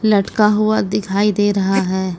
लटका हुआ दिखाई दे रहा है।